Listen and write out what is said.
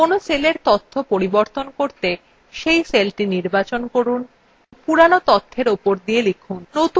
কোনো cellএর তথ্য পাল্টাতে cell সেলটি নির্বাচন করুন পুরোনো তথ্যের উপর লিখুন